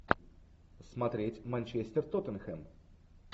смотреть манчестер тоттенхэм